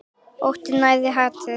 Óttinn nærir hatrið.